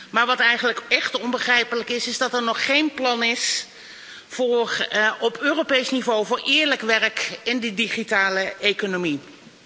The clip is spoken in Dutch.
Maar wat eigenlijk echt onbegrijpelijk is, is dat er nog geen plan is op Europees niveau voor eerlijk werk in die digitale economie.